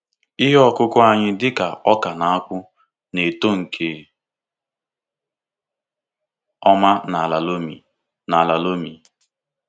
Ihe ọkụkụ anyị dịka oka na akpụ na-eto nke ọma n’ala loamy. n’ala loamy.